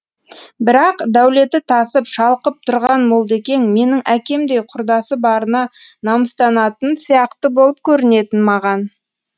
бірақ дәулеті тасып шалқып тұрған молдекең менің әкемдей құрдасы барына намыстанатын сияқты болып көрінетін маған